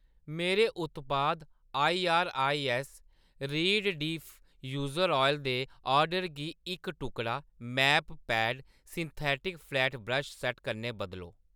मेरे उत्पाद I R I S reed diffuser oil दे ऑर्डर गी इक टुकड़ा mapped synthetic flat brush set कन्नै बदलो